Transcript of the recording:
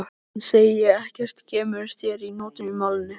En segi ekkert sem kemur þér að notum í málinu.